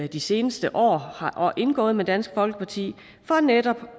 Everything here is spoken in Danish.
de seneste år har indgået med dansk folkeparti for netop